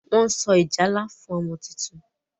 Wón so ìjálá fún ọmọ títún